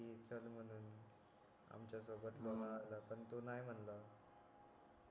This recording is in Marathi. पण तो नाय म्हणलं